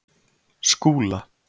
Skúla